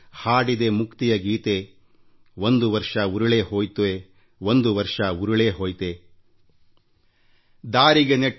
ಇಡೀ ವರ್ಷ ಕಳೆದಿದೆಯಲ್ಲ